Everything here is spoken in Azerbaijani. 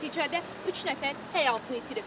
Nəticədə üç nəfər həyatını itirib.